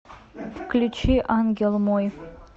включи ангел мой